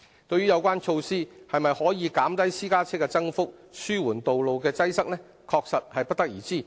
對於有關措施是否可以減低私家車的增幅、紓緩道路的擠塞，確實不得而知。